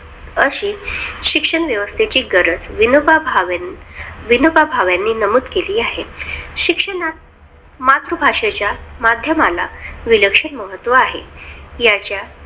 अशी शिक्षण व्यवस्थेची गरज विनोबा भावे विनोबा भावेंनी नमूद केली आहे. शिक्षणात मातृभाषेच्या माध्यमाला विलक्षण महत्त्व आहे. याच्या